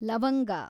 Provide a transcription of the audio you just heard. ಲವಂಗ